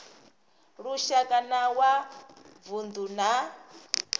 lushaka na wa vundu na